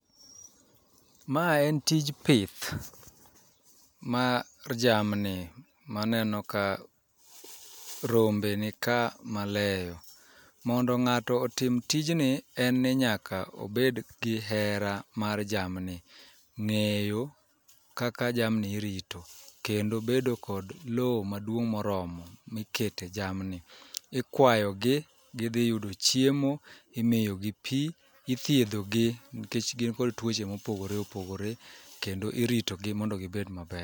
Ma en tij pith mar jamni maneno ka rombe ni ka maleyo. Mondo ng'ato otm tijni en ni nyaka obed gi hera mar jamni, ng'eyo kaka jamni irito kendo bedo kod lowo maduong' moromo mikete jamni, Ikwayogi, gidhi yudo chiemo, imiyo gi pi, ithiedhogi nikech gin kod tuoche mopogore opogore kendo iritogi mondo gibed maber.